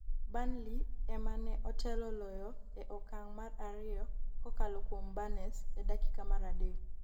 Burnley ema ne otelo loyo e okang' mar ariyo kokalo kuom Burnes e dakika mar adek